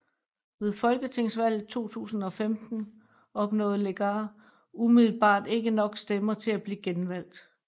Ved Folketingsvalget 2015 opnåede Legarth umiddelbart ikke nok stemmer til at blive genvalgt